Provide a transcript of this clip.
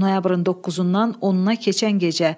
Noyabrın 9-dan 10-na keçən gecə